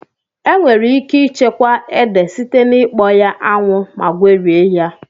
Enwere ike ịchekwa ede site na ikpọ ya 'anwụ ma gwerie ya